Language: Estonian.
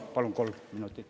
Palun kolm minutit juurde.